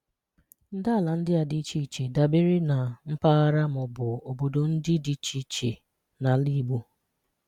Ndàala ndị a dị iche iche dabere na mpaghara ma ọ bụ obodo ndị dị iche iche n’ala Igbo.